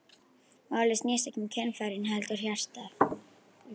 Málið snýst ekki um kynfærin heldur hjartað.